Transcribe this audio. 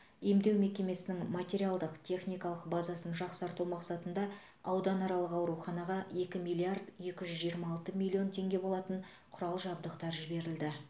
емдеу мекемесінің материалдық техникалық базасын жақсарту мақсатында ауданаралық ауруханаға екі миллиард екі жүз жиырма алты миллион теңге болатын құрал жабдықтар жіберілді